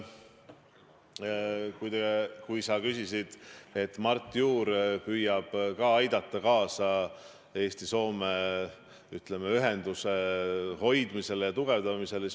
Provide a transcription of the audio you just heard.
Sa rääkisid, et Mart Juur püüab ka aidata kaasa Eesti ja Soome, ütleme, ühenduse hoidmisele ja tugevdamisele.